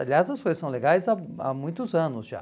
Aliás, as coisas são legais há há muitos anos já.